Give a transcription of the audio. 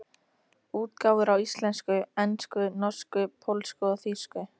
Útgáfur á íslensku, ensku, norsku, pólsku og þýsku.